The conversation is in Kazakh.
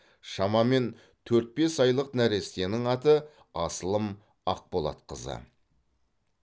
шамамен төрт бес айлық нәрестенің аты асылым ақболатқызы